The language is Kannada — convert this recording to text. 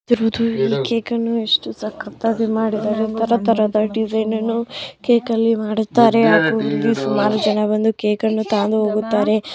ಈ ಕೇಕು ಅನ್ನು ಎಷ್ಟು ಎಷ್ಟು ಸಕ್ಕತ್ತಾಗಿ ಮಾಡಿದ್ದಾರೆ ತರ ತರಹದ ಡಿಸೈನ್ ಅನ್ನು ಕೇಕಲ್ಲಿ ಮಾಡಿದ್ದಾರೆ ಹಾಗು ಇಲ್ಲಿ ಸುಮಾರು ಜನ ಬಂದು ಕೇಕನ್ನು ತಗಂದು ಹೋಗುತ್ತಾರೆ.